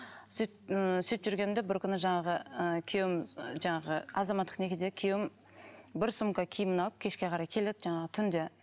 сөйтіп ммм сөйтіп жүргенімде бір күні жаңағы ыыы күйеуім жаңағы азаматтық некедегі күйеуім бір сумка киімін алып кешке қарай келеді жаңағы түнде